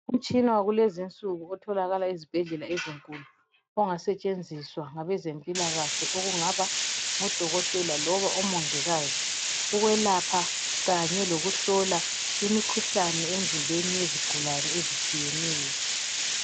Umtshina wakulezi insuku otholakala ezibhedlela ezinkulu ongasetshenziswa ngabezempilakahle okungaba ngodokotela loba omongikazi, ukwelapha kanye lokuhlola imkhuhlane emzimbeni yezigulane ezitshiyeneyo.